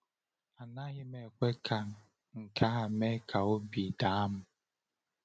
Anaghị m ekwe ka nke a mee ka obi daa m.